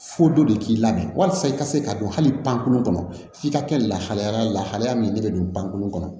Fo dɔ de k'i lamɛn walasa i ka se ka don hali pankurun kɔnɔ f'i ka kɛ lahala lahalaya min ne bɛ don pankurun kɔnɔ